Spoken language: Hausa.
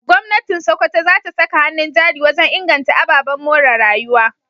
Gwamnatin Sokoto za ta saka hannun jari wajen inganta ababen more rayuwa.